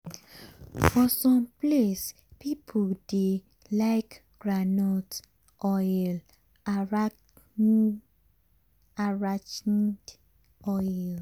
[ for some place people dey like call groundnut oil “arachide oil.”